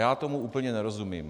Já tomu úplně nerozumím.